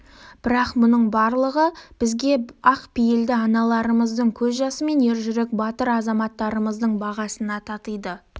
бірақ бұның барлығы бізге ақ пейілді аналарымыздың көз жасы мен ержүрек батыр азаматтарымыздың бағасына татиды